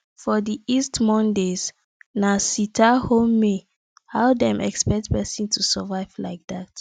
for the east mondays na sitathome how dem expect person to survive like dat